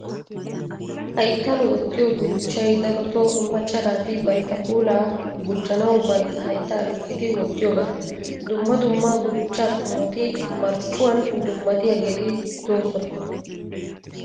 Hayttan wottiyo gudichchay darotoo macca naati bantta puulaa gujjanawu bantta hayittaa lukkidi wottiyogaa. Dumma dumma gudichchaa qommoti marccuwan dummatiyaageeti doosona.